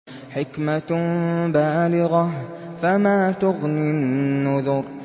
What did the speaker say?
حِكْمَةٌ بَالِغَةٌ ۖ فَمَا تُغْنِ النُّذُرُ